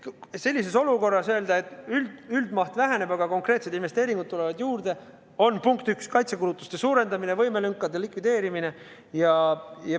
Sellises olukorras öelda, et üldmaht väheneb, aga konkreetsed investeeringud tulevad juurde, on kaitsekulutuste suurendamine ja võimelünkade likvideerimine.